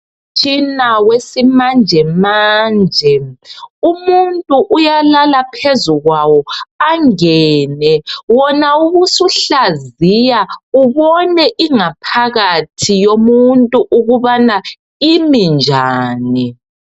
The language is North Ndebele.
Umtshina wesimanjemanje, umuntu uyalala phezukwawo, angene phakathi wona ubusuhlaziya ubone ingaphakathi yomuntu ukuthi imi njani.